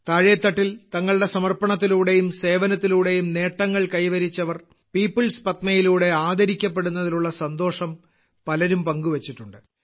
താഴേത്തട്ടിൽ തങ്ങളുടെ സമർപ്പണത്തിലൂടെയും സേവനത്തിലൂടെയും നേട്ടങ്ങൾ കൈവരിച്ചവർ പീപ്പിൾസ് പത്മയിലൂടെ ആദരിക്കപ്പെടുന്നതിലുള്ള സന്തോഷം പലരും പങ്കുവെച്ചിട്ടുണ്ട്